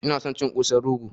Ina son cin Kosan rogo